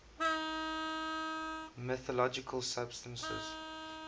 mythological substances